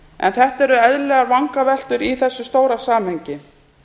en þetta eru eðlilegar vangaveltur í þessu stóra samhengi